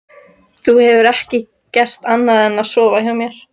Þú hefur ekki gert annað en að sofa hjá mér.